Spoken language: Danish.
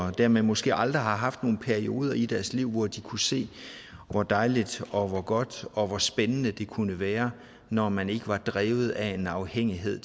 og dermed måske aldrig har haft nogen perioder i deres liv hvor de kunne se hvor dejligt og hvor godt og hvor spændende det kunne være når man ikke var drevet af en afhængighed